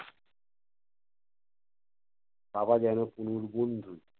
বাবা যেনো তনুর বন্ধু